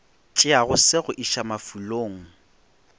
tšeago se go iša mafulong